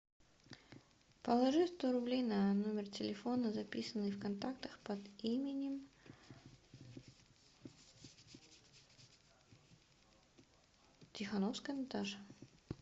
положи сто рублей на номер телефона записанный в контактах под именем тихоновская наташа